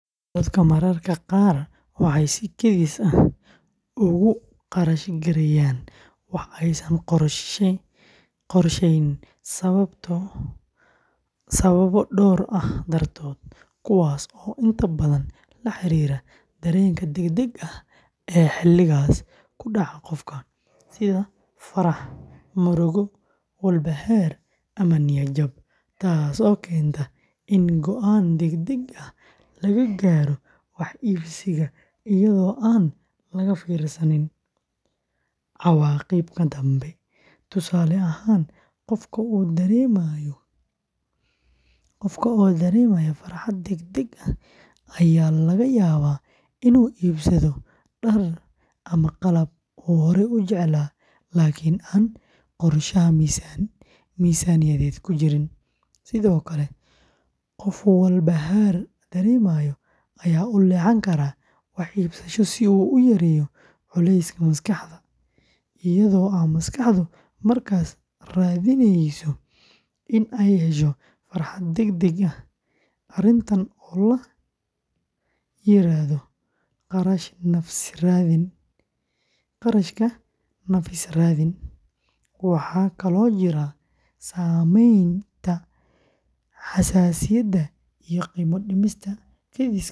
Dadka mararka qaar waxay si kedis ah ugu kharash gareeyaan wax aysan qorsheyn sababo dhowr ah dartood, kuwaas oo inta badan la xiriira dareenka degdega ah ee xilligaas ku dhaca qofka, sida farxad, murugo, walbahaar, ama niyad jab, taasoo keenta in go’aan degdeg ah laga gaaro wax iibsiga iyadoo aan laga fiirsan cawaaqibka dambe; tusaale ahaan, qofka oo dareemaya farxad degdeg ah ayaa laga yaabaa inuu iibsado dhar ama qalab uu horey u jeclaa laakiin aan qorshaha miisaaniyadeed ku jirin, sidoo kale qof walbahaar dareemaya ayaa u leexan kara wax iibsasho si uu u yareeyo culayska maskaxda, iyadoo maskaxdu markaas raadineyso in ay hesho farxad degdeg ah, arrintan oo la yiraahdo "kharashka nafis-raadinta", waxaa kaloo jira saameynta xayaysiisyada iyo qiimo-dhimista kediska ah.